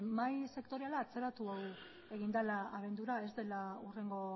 mahai sektoriala atzeratu egin dela abendura ez dela hurrengo